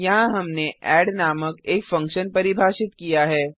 यहाँ हमने एड नामक एक फंक्शन परिभाषित किया है